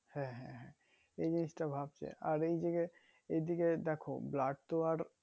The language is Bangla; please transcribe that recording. হ্যাঁ হ্যাঁ হ্যাঁ এই জিনিষটা ভাবছে আর এ দিকে এই দিকে দেখো blood তো আর